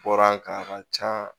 Bɔra an kan a ka can